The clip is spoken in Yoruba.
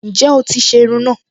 Ǹjẹ́ o ti se irun náà